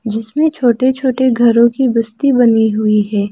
जिसमें छोटे छोटे घरों की बस्ती बनी हुई है।